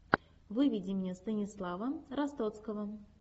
выведи мне станислава ростоцкого